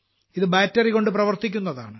ഇത് ബാറ്ററികൊണ്ട് പ്രവർത്തിക്കുന്നതാണ്